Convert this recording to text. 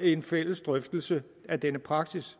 en fælles drøftelse af denne praksis